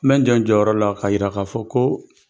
N bɛ jɔ n jɔyɔrɔ la ka yira ka fɔ ko